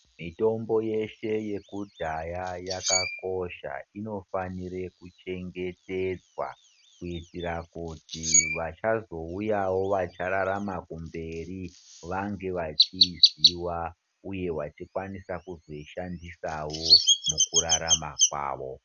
Mitombo yeshe yekudhaya yakakosha inofanirw kuchengetedzwa kuitira kuti vachazouyawo vachararama kumberi vange vachiziiziwa uye vachikwanisa kuzoishandisawo mukurarama kwavo.